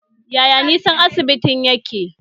Yaya nisan asibitin yake?